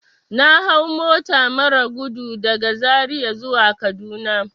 Na hau mota marar gudu daga zaria zuwa kaduna.